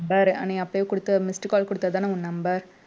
அஹ் நீ அப்பயே குடுத்த missed call குடுத்ததுதான உன் number